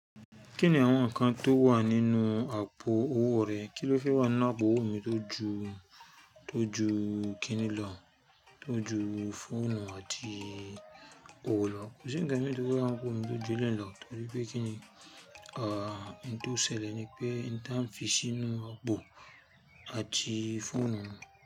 Kí ni àwọn nǹkan tó wà nínú àpò owó rẹ? Kí ló fẹ́ wà nínú àpò owó mi tó ju, tó ju kíni lọ? Tó ju fóònù àti òwo lo? Kò sí ǹkan mi tó fẹ́ wà nínú àpò mi tó ju eleyi lo, torí pé kíni, à, nǹkan tó ṣẹlẹ̀ ni pé nìyẹn tán fi sínú àpò àti fóònù mi.